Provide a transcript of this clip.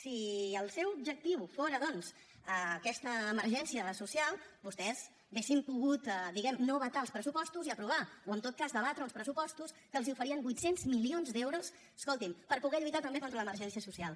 si el seu objectiu fóra doncs aquesta emergència social vostès haurien pogut diguem ne no vetar els pressupostos i aprovar o en tot cas debatre uns pressupostos que els oferien vuit cents milions d’euros escolti’m per poder lluitar també contra l’emergència social